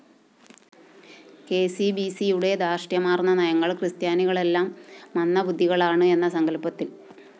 കെസിബിസിയുടെ ധാര്‍ഷ്ട്യമാര്‍ന്ന നയങ്ങള്‍ ക്രിസ്ത്യാനികളെല്ലാം മന്ദബുദ്ധികളാണ് എന്ന സങ്കല്‍പ്പത്തില്‍ നിന്നുണ്ടായതാണ്